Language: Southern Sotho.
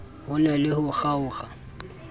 ho na le ho kgaokg